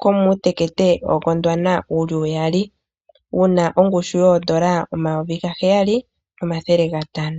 komuutekete woGondwana wu li uyali wu na ongushu yooN$ 7500.